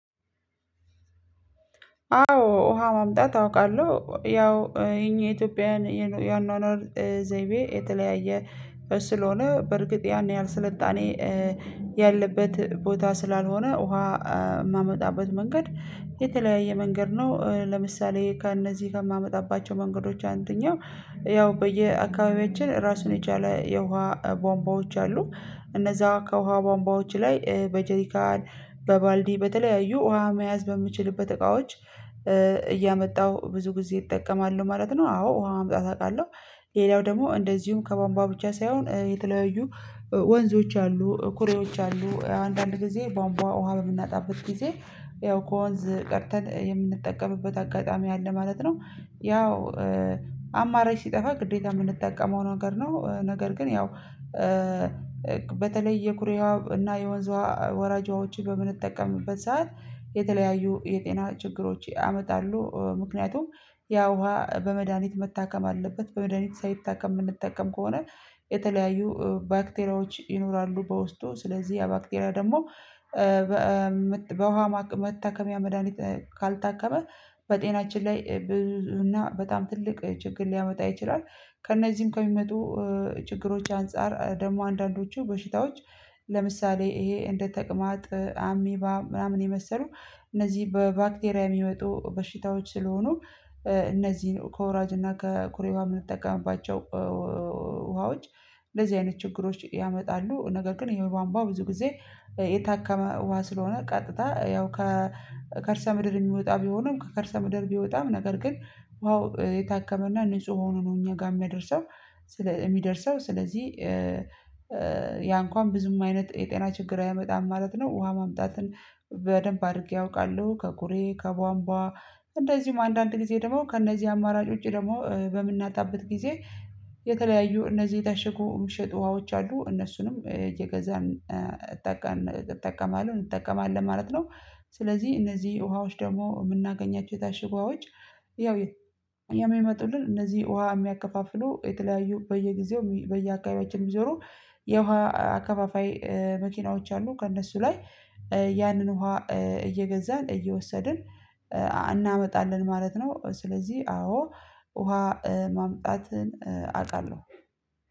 አዎ ውሃ ማምጣት አውቃለሁ ያው የኛ የኢትዮጵያውያን የአኗኗር ዘይቤ የተለያየ ስለሆነ በእርግጥ ያን ያህል ስልጣኔ ያለበት ቦታ ስላልሆነ ውሃ የማመጣበት መንገድ የተለያየ መንገድ ነው ለምሳሌ ከእነዚህ ከማመጣባቸው መንገዶች አንደኛው ያው በየአካባቢያችን ራሱን የቻለ የውሃ ቧምቧዎች አሉ እነዛ ከውሃ ቧምቧዎች ላይ በጀሪካን በባልዲ በተለያዩ ውሃ መያዝ በምችልበት እቃዎች እያመጣው ብዙ ጊዜ ይጠቀማሉ ማለት ነው አዎ ውሃ ማምጣት አውቃለሁ። ሌላው ደግሞ እንደዚሁም ከቧንቧ ብቻ ሳይሆን የተለያዩ ወንዞች አሉ ኩሬዎች አሉ አንዳንድ ጊዜ ቧንቧ ውሃ በምናጣበት ጊዜ ያው ከወንዝ ቀድተን የምንጠቀምበት አጋጣሚ አለ ማለት ነው። ያው አማራጭ ሲጠፋ ግዴታ የምንጠቀመው ነገር ነው ነገር ግን ያው በተለይ የኩሬ ውሃ እና የወርንዝ ውሃ ወራጅ ውሃዎችን በምንጠቀምበት ሰዓት የተለያዩ የጤና ችግሮች ያመጣሉ ምክንያቱም ያ ውሃ በመድሃኒት መታከም አለበት በመድሃኒት ሳይታከም የምንጠቀም ከሆነ የተለያዩ ባክቴራዎች ይኖራሉ በውስጡ ስለዚህ ያ ባክቴራ ደግሞ በውሃ መታከሚያ መድሃኒት ካልታከመ በጤናችን ላይ ብዙ እና በጣም ትልቅ ችግር ሊያመጣ ይችላል። ከእነዚህም ከሚመጡ ችግሮች አንፃር ደግሞ አንዳንዶቹ በሽታዎች ለምሳሌ ይሄ እንደ ተቅማጥ አሚባ ምናምን የመሰሉ እነዚህ በባክቴሪያ የሚመጡ በሽታዎች ስለሆኑ እነዚህን ከወራጅና ከኩሬ ውሃ የምንጠቀምባቸው ውሃዎች እንደዚህ አይነት ችግሮች ያመጣሉ። ነገር ግን የቧንቧ ውሃ ብዙ ጊዜ የታከመ ውሃ ስለሆነ ቀጥታ ያው ከከርሰ ምድር የሚወጣ ቢሆንም ከከርሰ ምድር ቢወጣም ነገር ግን ውሃው የታከመና ንጹህ ሆኖ ነው እኛ ጋር የሚያደርሰው የሚደርሰው ስለዚህ ያ እንኳን ብዙም አይነት የጤና ችግር አያመጣም ማለት ነው። ውሃ ማምጣትን በደንብ አድርጌ አውቃለሁ ከኩሬ ከቧንቧ እንደዚሁም አንዳንድ ጊዜ ደግሞ ከእነዚህ አማራጭ ውጪ ደግሞ በምናጣበት ጊዜ የተለያዩ እነዚህ የታሸኩ የሚሸጡ ውሃዎች አሉ እነሱንም እየገዛን እጠቀማለሁ እጠቀማለሁ ማለት ነው። ስለዚህ እነዚህ ውሃዎች ደግሞ የምናገኛቸው የታሸጉ ውሃዎች ያው የሚመጡልን እነዚህ ውሃ የሚያከፋፍሉ የተለያዩ በየጊዜው በየአካባቢያችን የሚዞሩ የውሃ አከፋፋይ መኪናዎች አሉ። ከእነሱ ላይ ያንን ውሃ እየገዛን እየወሰድን እናመጣለን ማለት ነው። ስለዚህ አዎ ውሃ ማምጣትን አውቃለሁ